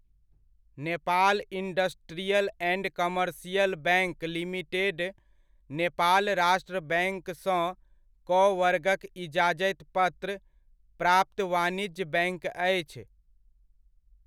Nepal industrial and commercial bank limited Nepal राष्ट्र बैङ्कसँ क वर्गक इजाजति पत्र प्राप्त वाणिज्य बैङ्क अछि।